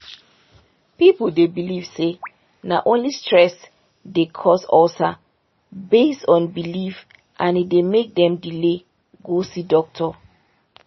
people dey believe say na only stress dey cause ulcer based on belief and e dey make dem delay go see doctor.